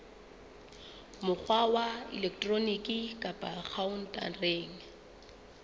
mokgwa wa elektroniki kapa khaontareng